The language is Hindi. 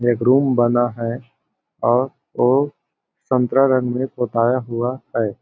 एक रूम बना है और वो संतरा रंग में पोटाया हुआ है।